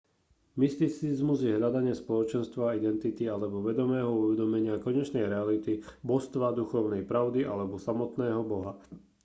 mysticizmus je hľadanie spoločenstva identity alebo vedomého uvedomenia konečnej reality božstva duchovnej pravdy alebo samotného boha